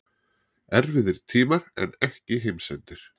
Erfiðir tímar en ekki heimsendir